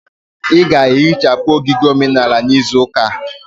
Ị ga-ehichapụ ogige omenala n'izu ụka a.